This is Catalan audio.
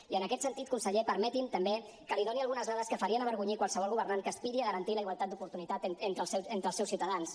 i en aquest sentit conseller permeti’m també que li doni algunes dades que farien avergonyir qualsevol governant que aspiri a garantir la igualtat d’oportunitats entre els seus ciutadans